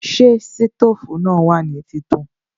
Ṣé sítòfù náà wà ní títàn?